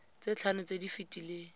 tse tlhano tse di fetileng